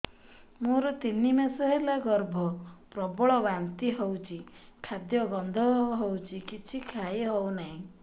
ମୋର ତିନି ମାସ ହେଲା ଗର୍ଭ ପ୍ରବଳ ବାନ୍ତି ହଉଚି ଖାଦ୍ୟ ଗନ୍ଧ ହଉଚି କିଛି ଖାଇ ହଉନାହିଁ